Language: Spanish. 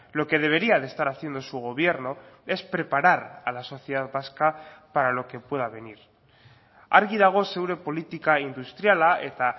lo que debería de estar haciendo su gobierno es preparar a la sociedad vasca para lo que pueda venir argi dago zure politika industriala eta